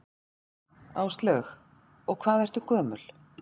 Áslaug: Og hvað ertu gömul?